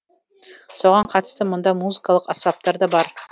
соған қатысты мұнда музыкалық аспаптар да бар